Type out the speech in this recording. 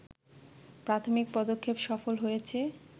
প্রাথমিক পদক্ষেপ সফল হয়েছে